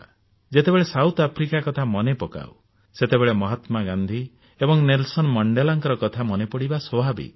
ଯେତେବେଳେ ଦକ୍ଷିଣ ଆଫ୍ରିକା କଥା ମନେ ପକାଉ ସେତେବେଳେ ମହାତ୍ମାଗାନ୍ଧୀ ଏବଂ ନେଲସନ ମଣ୍ଡେଲାଙ୍କ କଥା ମନେ ପଡିବା ସ୍ୱାଭାବିକ